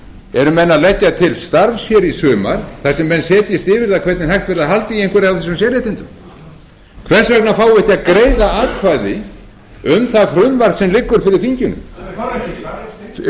eru menn að leggja til starfs hér í sumar þar sem menn setjist yfir það hvernig hægt verði að halda í einhver af þessum sérréttindum hvers vegna fáum við ekki að greiða atkvæði um það